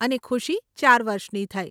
અને ખુશી ચાર વર્ષની થઇ.